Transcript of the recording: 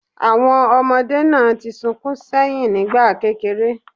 Àwọn ọmọdé náà ti sunkún ṣẹ́yìn nígbà kéreré